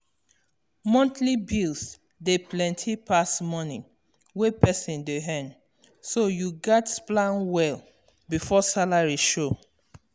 monthly bills dey plenty pass moni wey person dey earn so you gats plan well before salary show.